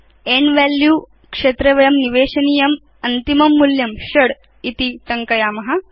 and value क्षेत्रे वयं निवेशनीयम् अन्तिमं मूल्यं षडिति टङ्कयाम